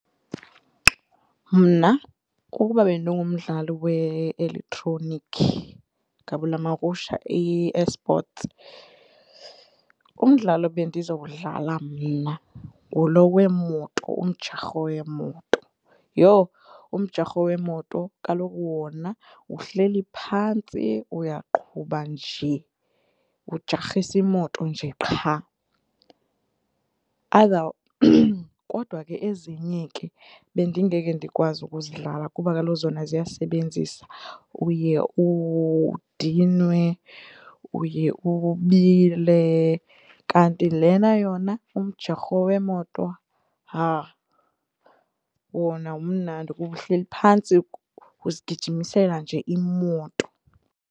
Mna ukuba bendingumdlali we-elektroniki gabulamakusha i-eSports umdlalo bendizowudlala mna nguloo weemoto umjarho wemoto. Yho! Umjarho weemoto kaloku wona uhleli phantsi uyaqhuba nje, ujarhise imoto nje qha. Kodwa ke ezinye ke bendingeke ndikwazi ukuzidlala kuba kaloku zona ziyasebenzisa uye udinwe, uye ubile kanti lena yona umjarho weemoto, haa, wona mnandi kuba uhleli phantsi uzigijimisela nje imoto.